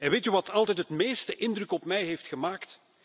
Weet u wat altijd het meeste indruk op mij heeft gemaakt?